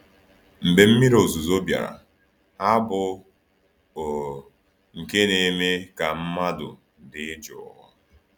Mgbe mmiri ozuzo bịara, ha bụ, o, nke na-eme ka mmadụ dị jụụ!